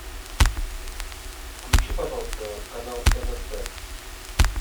включи пожалуйста канал нст